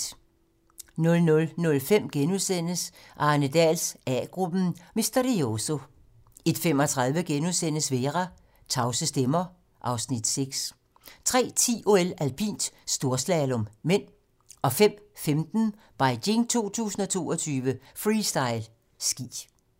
00:05: Arne Dahls A-gruppen: Misterioso * 01:35: Vera: Tavse stemmer (Afs. 6)* 03:10: OL: Alpint - storslalom (m) 05:15: Beijing 2022: Freestyle ski